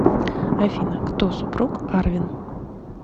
афина кто супруг арвен